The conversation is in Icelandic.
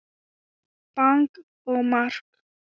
Bang og mark!